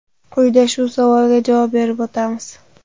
Quyida shu savolga javob berib o‘ tamiz.